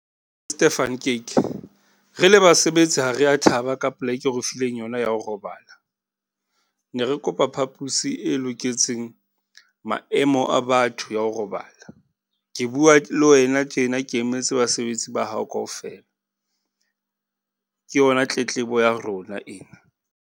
Van Kyk, re le basebetsi ha re ya thaba ka poleke eo re fileng yona ya ho robala. Ne re kopa phapusi e loketseng maemo a batho ya ho robala. Ke bua le wena tjena, ke emetse basebetsi ba hao kaofela, ke yona tletlebo ya rona ena.